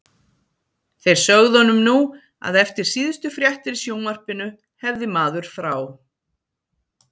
Þeir sögðu honum nú að eftir síðustu fréttir í sjónvarpinu hefði maður frá